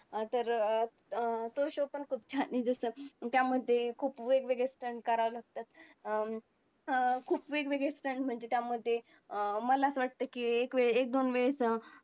आतला आत कोंडला जातो त्यामुळे त्या व्यक्तीचा ज्याठरअग्नी अधिक प्रदीप्त होतो म्हणून त्याने सवयीप्रमाणे घेतलेला आहार त्याला पूरक होत नाही म्हणून अशा वेळेस